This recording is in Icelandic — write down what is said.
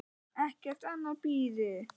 Ekkert annað bíði.